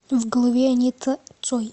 в голове анита цой